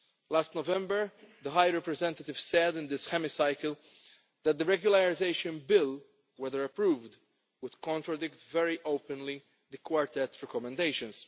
Last November the High Representative said in this Hemicycle that the regularisation bill, if approved, would contradict very openly the Quartet's recommendations.